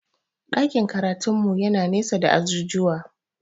Ɗakin karatun mu yana nesa da ajujuwa